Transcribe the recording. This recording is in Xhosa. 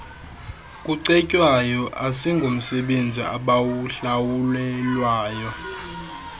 kucetywayo asingomsebenzi abawuhlawulelwayo